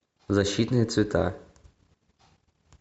защитные цвета